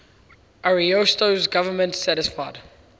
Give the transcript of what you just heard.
ariosto's government satisfied